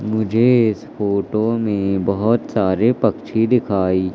मुझे इस फोटो में बहोत सारे पक्षी दिखाई--